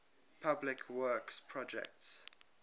public works projects